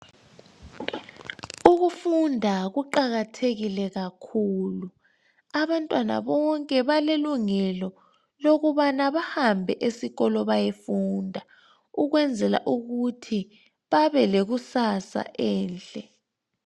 Ukufunda kuqakathekile kakhulu. Abantwana bonke balelungelo lokuba bahambe esikolo bayofunda ukwenzela ukuthi babe lekusasa enhle.